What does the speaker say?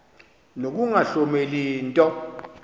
nokunga hloneli nto